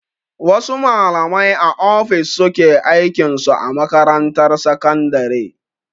Wasu malamai a ofis suke aikin su a makarantar sakandare.